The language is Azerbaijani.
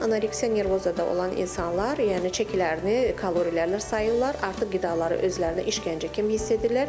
Anoreksiya nervozada olan insanlar, yəni çəkilərini kalorilərinə sayırlar, artıq qidaları özlərinə işgəncə kimi hiss edirlər.